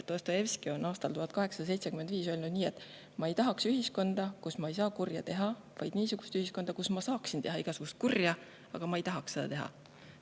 Dostojevski on aastal 1875 öelnud nii: "Mina ei taha sellist ühiskonda, kus ma ei saa kurja teha, vaid just niisugust, kus ma saaksin teha igasugust kurja, aga ise ei tahaks seda teha.